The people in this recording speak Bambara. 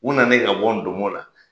U nanen ka bɔ ndomɔ la